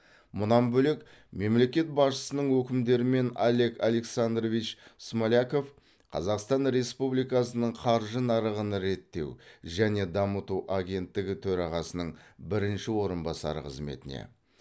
мұнан бөлек мемлекет басшысының өкімдерімен олег александрович смоляков қазақстан республикасының қаржы нарығын реттеу және дамыту агенттігі төрағасының бірінші орынбасары қызметіне